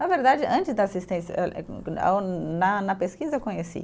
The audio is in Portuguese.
Na verdade, antes da assistência eh eh, na na pesquisa eu conheci.